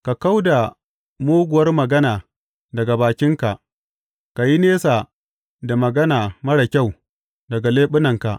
Ka kau da muguwar magana daga bakinka; ka yi nesa da magana marar kyau daga leɓunanka.